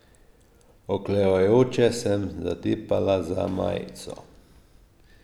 Oklevajoče sem zatipala za majico.